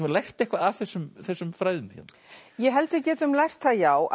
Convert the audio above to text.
lært eitthvað af þessum þessum fræðum hérna ég held við getum lært það já